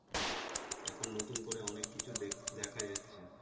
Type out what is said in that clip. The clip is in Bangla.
এখন নতুন করে অনেক কিছু দেখ দেখা যাচ্ছে